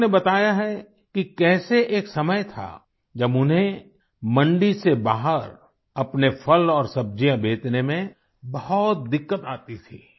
उन्होंने बताया है कि कैसे एक समय था जब उन्हें मंडी से बाहर अपने फल और सब्जियाँ बेचने में बहुत दिक्कत आती थी